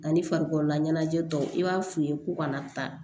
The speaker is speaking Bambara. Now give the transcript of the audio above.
Ani farikololaɲɛnajɛ dɔw i b'a f'u ye ko kana taa